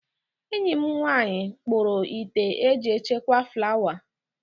Enyi m nwaanyị kpuru ite eji echekwa flawa.